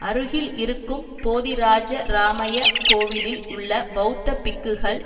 அருகில் இருக்கும் போதிராஜராமய கோவிலில் உள்ள பெளத்த பிக்குகள்